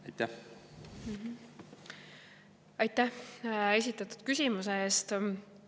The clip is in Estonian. Aitäh esitatud küsimuse eest!